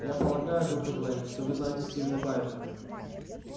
я полагаю доктор лэннинг что вы знаете стивена байерли